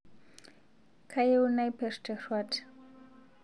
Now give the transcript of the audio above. Kayieu naper teruat